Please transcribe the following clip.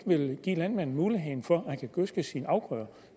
give landmanden muligheden for at gødske sine afgrøder